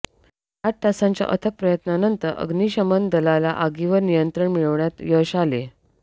आठ तासांच्या अथक प्रयत्नानंतर अग्निशमन दलाला आगीवर नियंत्रण मिळवण्यात यश आले